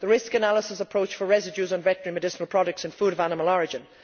The Risk Analysis approach for residues of veterinary medicinal products in food of animal origin.